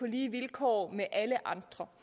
lige vilkår med alle andre